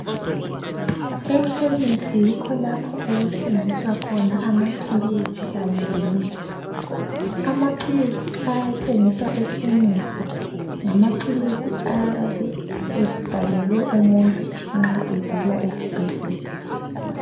Amakhemisi yikho lapho okuthengiswa khona amapills lemithi amapills ayathengiswa ekhemisi ngamapills ayabe ebhalelwe umuntu nxa evela esibhedlela